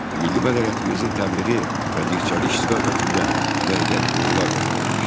Milli mədəniyyətimizin təbliği və dirçəliş istiqamətində müəyyən uğurlar qazanılmışdı.